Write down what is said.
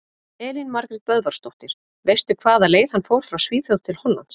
Elín Margrét Böðvarsdóttir: Veistu hvaða leið hann fór frá Svíþjóð til Hollands?